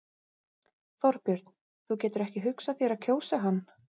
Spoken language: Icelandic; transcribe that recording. Þorbjörn: Þú getur ekki hugsað þér að kjósa hann?